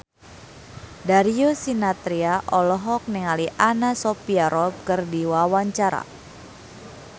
Darius Sinathrya olohok ningali Anna Sophia Robb keur diwawancara